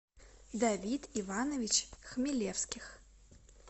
давид иванович хмелевских